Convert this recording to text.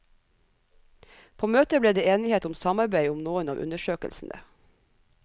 På møtet ble det enighet om samarbeid om noen av undersøkelsene.